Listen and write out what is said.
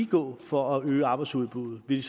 gå for at øge arbejdsudbuddet vil